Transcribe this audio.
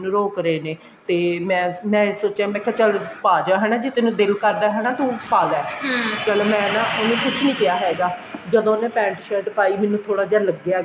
mummy ਮੈਨੂੰ ਰੋਕ ਰਹੇ ਨੇ ਤੇ ਮੈਂ ਮੈਂ ਸੋਚਿਆ ਕੇ ਚੱਲ ਪਾਜਾ ਹਨਾ ਜੇ ਤੇਨੂੰ ਦਿਲ ਕਰਦਾ ਹਨਾ ਤੂੰ ਪਾਲਾ ਚਲੋ ਮੈਂ ਨਾ ਇਹਨੂੰ ਕੁੱਛ ਨਹੀਂ ਕਿਹਾ ਹੈਗਾ ਜਦੋਂ ਉਹਨੇ pent shirt ਪਾਈ ਮੈਨੂੰ ਥੋੜਾ ਜਾ ਲੱਗਿਆ